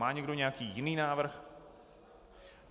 Má někdo nějaký jiný návrh?